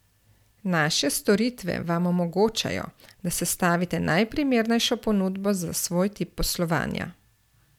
Naše storitve vam omogočajo, da sestavite najprimernejšo ponudbo za svoj tip poslovanja.